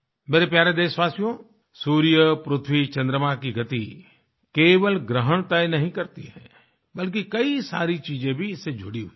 मेरे प्यारे देशवासियो सूर्य पृथ्वी चंद्रमा की गति केवल ग्रहण तय नहीं करती है बल्कि कई सारी चीजें भी इससे जुड़ी हुई हैं